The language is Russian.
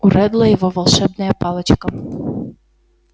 у реддла его волшебная палочка